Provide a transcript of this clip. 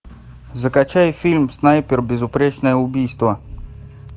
закачай фильм снайпер безупречное убийство